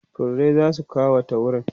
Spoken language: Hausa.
furrai zasu kawata wurin